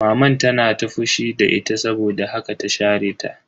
Maman ta tana fushi da ita saboda haka ta share ta.